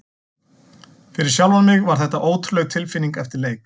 Fyrir sjálfan mig var þetta ótrúleg tilfinning eftir leik.